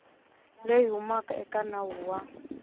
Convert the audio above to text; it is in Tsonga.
leyi humaka eka nawu wa